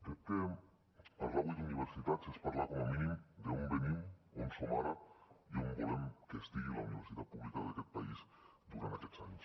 crec que parlar avui d’universitats és parlar com a mínim d’on venim on som ara i on volem que estigui la universitat pública d’aquest país durant aquests anys